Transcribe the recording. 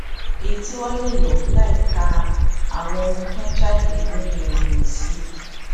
èyí tí wọn lè lò láìka àwọn ohun tó ń jáde nínú ìròyìn sí